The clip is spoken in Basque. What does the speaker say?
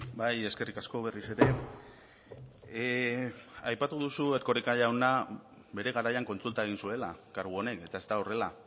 bai eskerrik asko berriz ere aipatu duzu erkoreka jauna bere garaian kontsulta egin zuela kargu honek eta ez da horrela